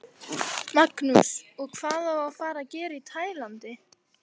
Magnús: Og hvað á að fara að gera í Tælandi?